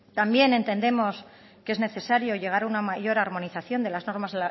también entendemos que es necesario llegar a una mayor armonización de las normas